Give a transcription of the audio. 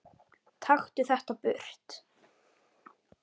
Taktu þetta burt!